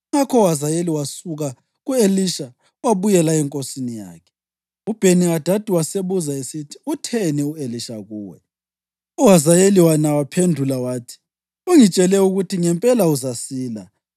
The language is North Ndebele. Ngakho uHazayeli wasuka ku-Elisha wabuyela enkosini yakhe. UBheni-Hadadi wasebuza esithi, “Utheni u-Elisha kuwe?” UHazayeli yena waphendula wathi, “Ungitshele ukuthi ngempela uzasila.”